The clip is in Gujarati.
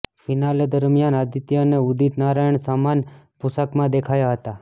ફિનાલે દરમિયાન આદિત્ય અને ઉદિત નારાયણ સમાન પોશાકમાં દેખાયા હતા